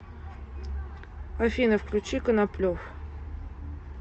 афина включи коноплев